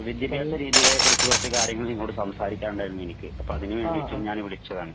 വിദ്യാഭ്യാസ രീതികളെക്കുറിച്ചു ചെറിയ ചെറിയ കാര്യങ്ങൾ സംസാരിക്കാനുണ്ടായിരുന്നു എനിക്ക് അപ്പൊ അതിനു വേണ്ടിയിട്ട് ഞാൻ വിളിച്ചതാണ്